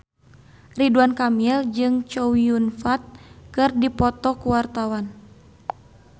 Ridwan Kamil jeung Chow Yun Fat keur dipoto ku wartawan